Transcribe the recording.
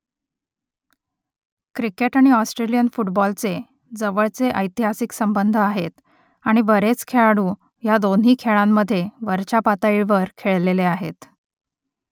cricket आणि Australian फुटबॉलचे जवळचे ऐतिहासिक संबंध आहेत आणि बरेच खेळाडू ह्या दोन्ही खेळांमध्ये वरच्या पातळीवर खेळलेले आहेत